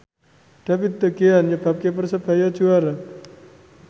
David De Gea nyebabke Persebaya juara